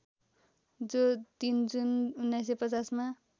जो ३ जुन १९५०मा